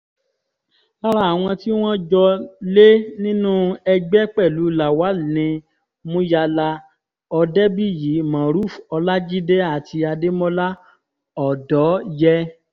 lára àwọn tí wọ́n jọ lé nínú ẹgbẹ́ pẹ̀lú lawal ni muyala òdebíyí morufú ọlajide àti adémọlá ọ̀dọ́yé